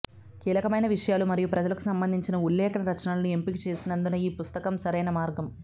కీలకమైన విషయాలు మరియు ప్రజలకు సంబంధించిన ఉల్లేఖన రచనలను ఎంపికచేసినందున ఈ పుస్తకం సరైన మార్గం